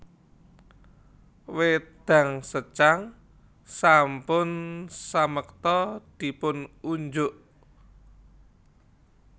Wédang secang sampun samekta dipun unjuk